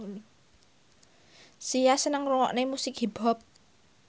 Sia seneng ngrungokne musik hip hop